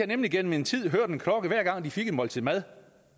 nemlig gennem en tid hørt en klokke hver gang de fik et måltid mad